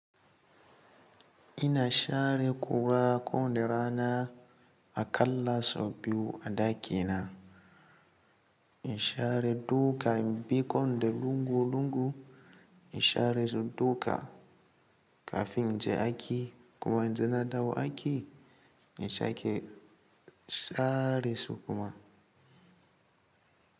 Ina share ƙura kowane rana aƙalla so biyu a ɗakina. In share duka in bi kowane lungu lungu. In share su duka kafin in je aiki kuma idan na dawo aiki in sake sharesu kuma.